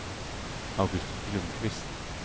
August Ljungqvist